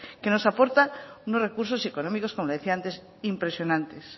que nos aporta unos recursos económicos como decía antes impresionantes